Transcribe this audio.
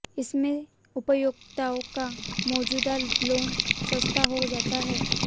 इससे उपभोक्ताओं का मौजूदा लोन सस्ता हो जाता है